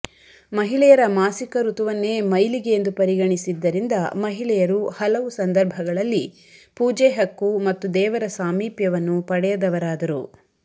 ಮಹಿಳೆಯರ ಮಾಸಿಕ ಋತುವನ್ನೇ ಮೈಲಿಗೆಯೆಂದು ಪರಿಗಣಿಸಿದ್ದರಿಂದ ಮಹಿಳೆಯರು ಹಲವು ಸಂದರ್ಭಗಳಲ್ಲಿ ಪೂಜೆ ಹಕ್ಕು ಮತ್ತು ದೇವರ ಸಾಮೀಪ್ಯವನ್ನು ಪಡೆಯದವರಾದರು